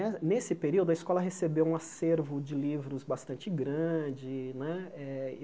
Ne nsse período, a escola recebeu um acervo de livros bastante grande né eh.